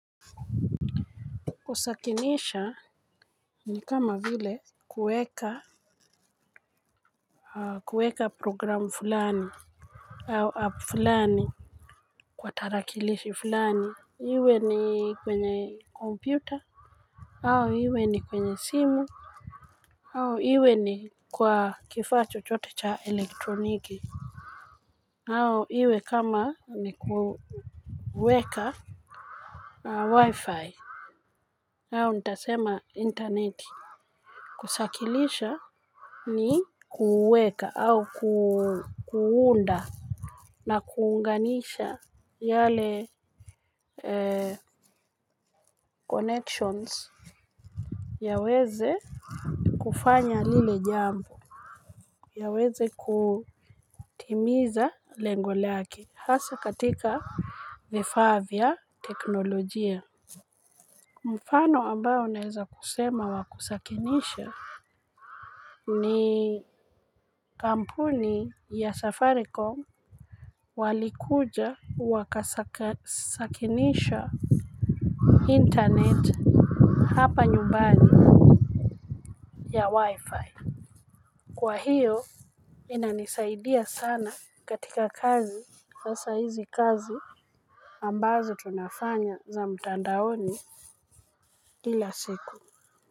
Usakinisha ni kama vile kueka kueka programu fulani. Au app fulani kwa tarakilishi fulani. Iwe ni kwenye kompyuta. Au iwe ni kwenye simu. Au iwe ni kwa kifacho chochote cha elektroniki. Au iwe kama ni kuweka Wifi. Au ntasema interneti. Kusakilisha ni kuweka au kuunda na kuunganisha yale connections ya weze kufanya lile jambo. Ya weze kutimiza lengo lake. Hasa katika vifa vya teknolojia. Mfano ambao naeza kusema wakusakinisha ni kampuni ya safaricom walikuja wakasakinisha internet hapa nyumbani ya wi-fi kwa hiyo inanisaidia sana katika kazi hasa hizi kazi ambazo tunafanya za mtandaoni kila siku.